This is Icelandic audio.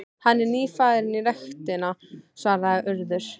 Hann er nýfarinn í ræktina- svaraði Urður.